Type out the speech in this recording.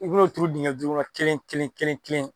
I b'o diŋɛ duuru la kelen kelen kelen kelen